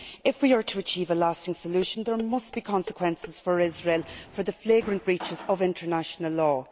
If we are to achieve a lasting solution, there must be consequences for Israel for the flagrant breaches of international law.